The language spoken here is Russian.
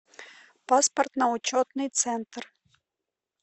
паспортно учетный центр